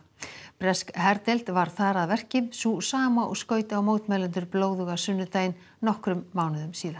bresk herdeild var þar að verki sú sama og skaut á mótmælendur blóðuga sunnudaginn nokkrum mánuðum síðar